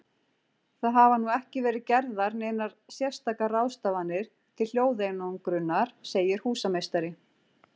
Það hafa nú ekki verið gerðar neinar sérstakar ráðstafanir til hljóðeinangrunar, segir húsameistari.